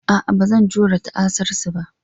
A'a, ba zan iya jure ta'asarsu ba.